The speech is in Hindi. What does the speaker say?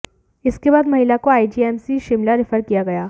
इसके बाद महिला को आईजीएमसी शिमला रैफर किया गया